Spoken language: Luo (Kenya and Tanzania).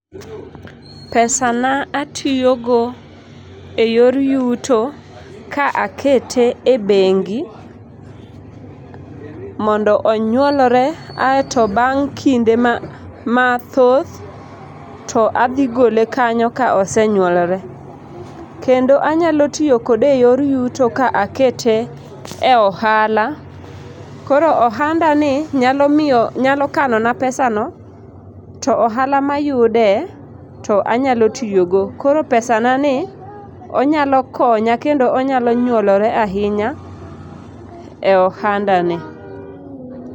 Pesana atiyogo e yor yuto ka akete e bengi mondo onyuolre aeto bang' kinde mathoth to adhigole kanyo ka osenyuolore. Kendo anyalo tiyo kode e yor yuto ka akete e ohala. Koro ohandani nyalo miyo nyalo kano na pesano to ohala mayude to anyalo tiyogo. Koro pesanani onyalo konya kendo onyalo nyuolore ahinya e ohandani.